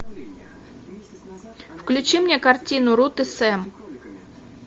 включи мне картину рут и сэм